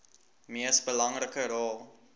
mees belangrike rol